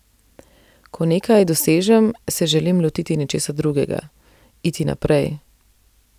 Ko nekaj dosežem, se želim lotiti nečesa drugega, iti naprej.